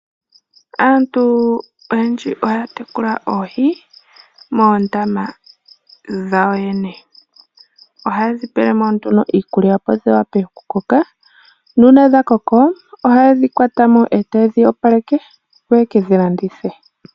Aantu oyendji ohaya tekula oohi moondama dhawo yene. Ohayedhi pelemo nduno iikulya opo dhi wape oku koka. Nuuna dha koko ohaye dhi kwatamo etaye dhi opaleke opo yeke dhi landithe.